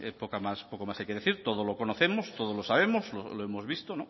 poco más hay que decir todos lo conocemos todos lo sabemos lo hemos visto